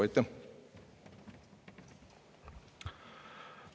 Aitäh!